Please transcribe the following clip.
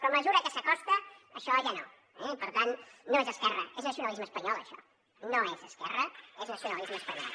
però a mesura que s’acosta això ja no eh i per tant no és esquerra és nacionalisme espanyol això no és esquerra és nacionalisme espanyol